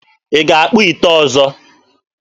Ị ga-akpụ ite ọzọ?